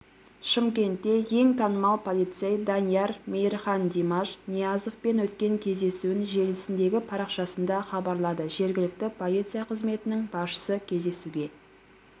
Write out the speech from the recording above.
шымкентте ең танымал полицейданияр мейірхандимаш ниязовпен өткен кездесуін желісіндегі парақшасында хабарлады жергілікті полиция қызметінің басшысы кездесуге